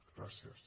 gràcies